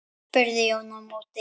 spurði Jón í móti.